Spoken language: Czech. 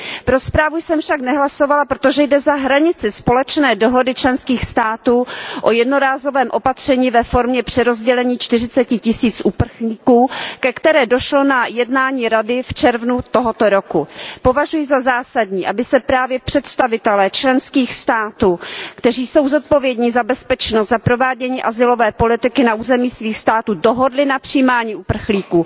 Pro zprávu jsem však nehlasovala, protože jde za hranici společné dohody členských států o jednorázovém opatření ve formě přerozdělení čtyřiceti tisíců uprchlíků, ke které došlo na jednání Rady v červnu tohoto roku. Považuji za zásadní, aby se právě představitelé členských států, kteří jsou zodpovědní za bezpečnost, za provádění azylové politiky na území svých států dohodli na přijímání uprchlíků.